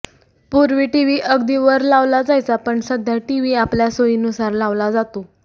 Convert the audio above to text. पूर्वी टीव्ही अगदी वर लावला जायचा पण सध्या टीव्ही आपल्या सोयीनुसार लावला जातो